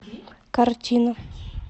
картина